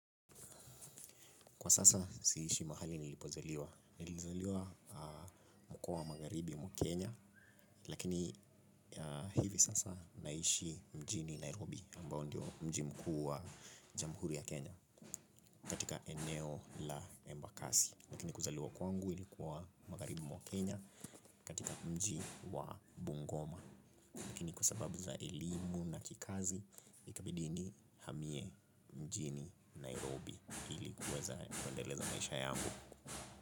Kwa sasa siishi mahali nilipozaliwa, nilizaliwa mkoa wa magharibi mwa Kenya, lakini hivi sasa naishi mjini Nairobi, ambao ndio mji mkuu wa jamhuri ya Kenya katika eneo la embakasi. Lakini kuzaliwa kwangu ilikuwa magharibi mwa Kenya katika mji wa Bungoma, lakini kwa sababu za elimu na kikazi, ikabidi nihamie mjini Nairobi ili kuweza kuendeleza maisha yangu.